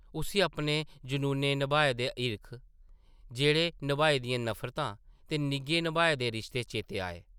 उस्सी अपने जनूनें नभाए दे हिरख, जैह्रें नभाई दियां नफरतां ते निग्घें नभाए दे रिश्ते चेतै आए ।